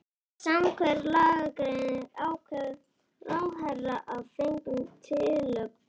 Samkvæmt lagagreininni ákveður ráðherra að fengnum tillögum